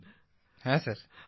প্রদীপজি হ্যাঁ স্যার